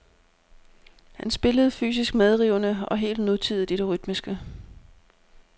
Han spillede fysisk medrivende og helt nutidigt i det rytmiske.